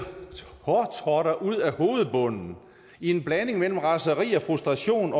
hårtotter ud af hovedbunden i en blanding af raseri og frustration